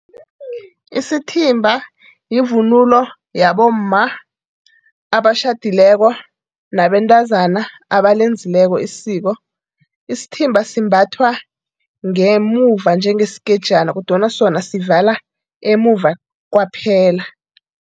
Isithimba yivunulo yabomma amatjhadileko nabentazana abalenzileko isiko. Isithimba simbathwa ngemuva njengeskejana kodwana sona sivala emuva kwaphela.